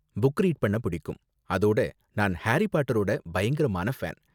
Book read பண்ண பிடிக்கும், அதோட நான் ஹாரி பாட்டரோட பயங்கரமான ஃபேன்.